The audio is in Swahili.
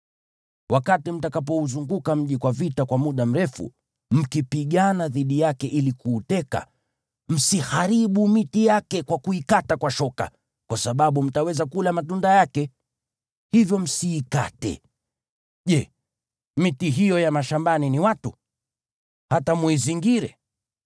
Wakati mtakapouzunguka mji kwa vita kwa muda mrefu, mkipigana dhidi yake ili kuuteka, msiharibu miti yake kwa kuikata kwa shoka, kwa sababu mtaweza kula matunda yake. Hivyo msiikate. Je, miti hiyo ya mashambani ni watu, hata muizingire?